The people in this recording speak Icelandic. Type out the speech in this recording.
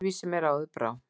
Öðruvísi mér áður brá.